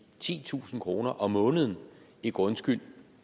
titusind kroner om måneden i grundskyld